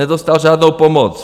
Nedostal žádnou pomoc.